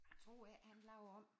Jeg tror ikke han laver om